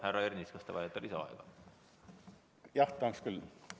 Härra Ernits, kas te vajate lisaaega?